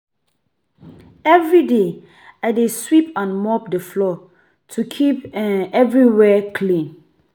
Every day, I dey sweep and mop the floor to keep um everywhere clean.